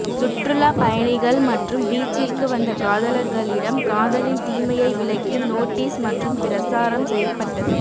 சுற்றுலா பயணிகள் மற்றும் பீச்சிற்கு வந்த காதலர்களிடம் காதலின் தீமையை விளக்கி நோட்டீஸ் மற்றும் பிரசாரம் செயப்பட்டது